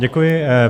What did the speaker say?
Děkuji.